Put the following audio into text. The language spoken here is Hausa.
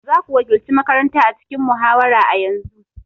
Za ku wakilci makaranta a cikin muhawara a yanzu!